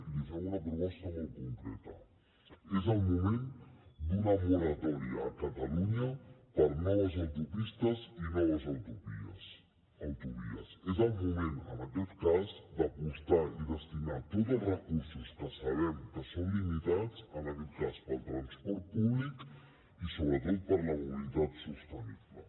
i li fem una proposta molt concreta és el moment d’una moratòria a catalunya per a noves autopistes i noves autovies és el moment en aquest cas d’apostar i destinar tots els recursos que sabem que són limitats al transport públic i sobretot a la mobilitat sostenible